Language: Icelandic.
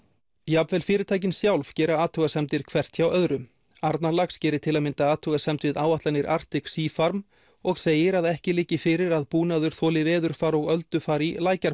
jafnvel fyrirtækin sjálf gera athugasemdir hvert hjá öðru Arnarlax gerir til að mynda athugasemd við áætlanir Arctic Sea farm og segir að ekki liggi fyrir að búnaður þoli veðurfar og